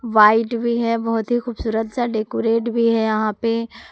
White भी है बहुत ही खूबसूरत सा डेकोरेट भी है यहां पे।